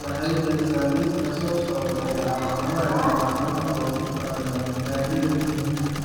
waxay bixisaa liiska soo socda ee calaamadaha iyo calaamadaha loogu talagalay Gariirka Muhiimka ah.